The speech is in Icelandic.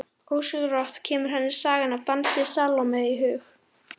Ósjálfrátt kemur henni sagan af dansi Salóme í hug.